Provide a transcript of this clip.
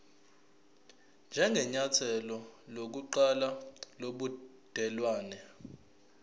njengenyathelo lokuqala lobudelwane